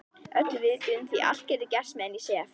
Öllu viðbúin því allt getur gerst meðan ég sef.